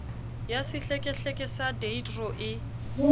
ya sehlekehleke sa deidro e